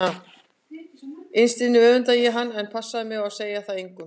Innst inni öfundaði ég hann en ég passaði mig á að segja það engum.